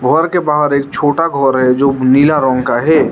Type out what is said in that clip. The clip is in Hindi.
घर के बाहर एक छोटा घर है जो नीला रंग का है।